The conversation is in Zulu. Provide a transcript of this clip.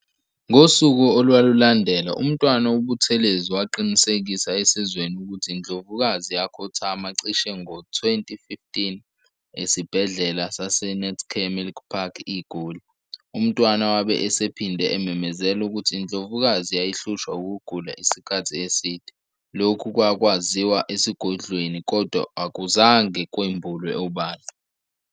Ngosuku olwalulandela, uMntwana uButhelezi waqinisekisa esizweni ukuthi iNdlovukazi yakhothama cishe ngo-20:15 eSibhedlela saseNetcare Milpark IGoli. UMntwana wabe esephinde ememezela ukuthi iNdlovukazi yayihlushwa ukugula isikhathi eside, lokhu kwakwaziwa esigodlweni kodwa akuzange kwembulwe obala.